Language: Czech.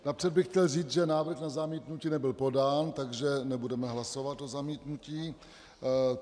Napřed bych chtěl říct, že návrh na zamítnutí nebyl podán, takže nebudeme hlasovat o zamítnutí.